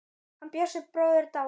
Hann Bjössi bróðir er dáinn.